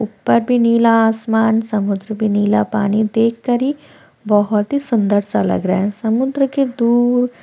ऊपर भी नीला आसमान समुद्र भी नीला पानी देखकर ही बहोत ही सुंदर सा लग रहा है समुद्र के दूर--